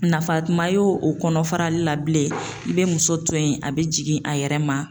Nafa kuma ye o kɔnɔ farali la bilen i bɛ muso to yen a bɛ jigin a yɛrɛ ma.